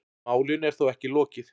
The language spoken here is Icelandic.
Málinu er þó ekki lokið.